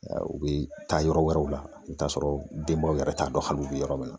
U bɛ taa yɔrɔ wɛrɛw la i bɛ t'a sɔrɔ denbaw yɛrɛ t'a dɔn hali u bɛ yɔrɔ min na